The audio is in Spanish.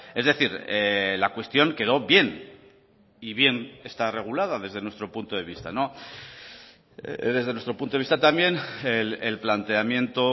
es decir la cuestión quedo bien y bien está regulada desde nuestro punto de vista desde nuestro punto de vista también el planteamiento